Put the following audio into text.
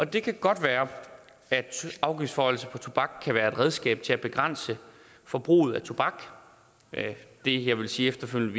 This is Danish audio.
det kan godt være at afgiftsforhøjelse på tobak kan være et redskab til at begrænse forbruget af tobak det jeg vil sige efterfølgende